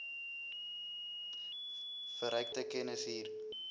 verrykte kennis hier